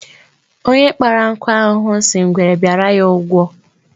Onye kpara nkụ ahụhụ si ngwere bịara ya ụgwọ